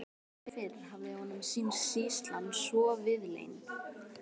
Aldrei fyrr hafði honum sýnst sýslan svo víðlend.